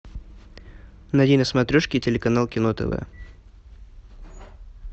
найди на смотрешке телеканал кино тв